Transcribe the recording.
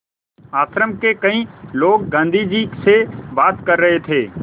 आश्रम के कई लोग गाँधी जी से बात कर रहे थे